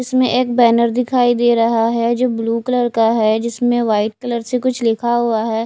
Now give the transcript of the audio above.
इसमें एक बैनर दिखाई दे रहा है जो ब्लू कलर का है जिसमें व्हाइट कलर से कुछ लिखा हुआ है।